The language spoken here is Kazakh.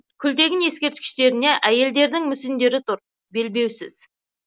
күлтегін ескерткіштеріне әйелдердің мүсіндері тұр белбеусіз